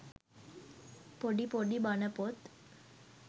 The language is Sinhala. පොඩි පොඩි බණපොත්